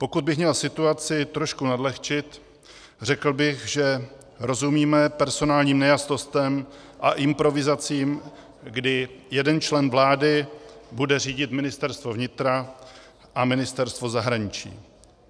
Pokud bych měl situaci trošku nadlehčit, řekl bych, že rozumíme personálním nejasnostem a improvizacím, kdy jeden člen vlády bude řídit Ministerstvo vnitra a Ministerstvo zahraničí.